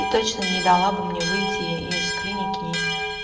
и точно не дала бы мне выйти из клиники и